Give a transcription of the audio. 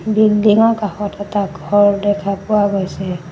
বিল্ডিঙৰ কাষত এটা ঘৰ দেখা পোৱা গৈছে।